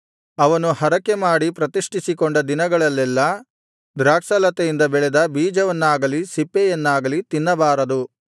ಅವನು ಹರಕೆಮಾಡಿ ಪ್ರತಿಷ್ಠಿಸಿಕೊಂಡ ದಿನಗಳಲ್ಲೆಲ್ಲಾ ದ್ರಾಕ್ಷಾಲತೆಯಿಂದ ಬೆಳೆದ ಬೀಜವನ್ನಾಗಲಿ ಸಿಪ್ಪೆಯನ್ನಾಗಲಿ ತಿನ್ನಬಾರದು